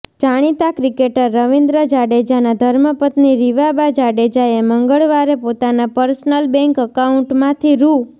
જાણીતા ક્રિકેટર રવીન્દ્ર જાડેજાના ધર્મપત્ની રિવાબા જાડેજાએ મંગળવારે પોતાના પર્સનલ બેંક એકાઉન્ટમાંથી રૂ